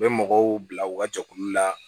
U bɛ mɔgɔw bila u ka jɛkulu la